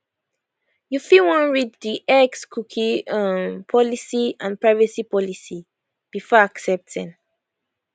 you fit wan read di xcookie um policyandprivacy policybefore accepting